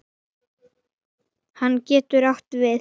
Kaninn getur átt við